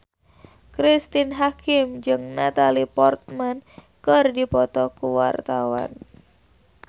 Cristine Hakim jeung Natalie Portman keur dipoto ku wartawan